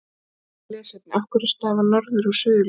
Frekara lesefni: Af hverju stafa norður- og suðurljósin?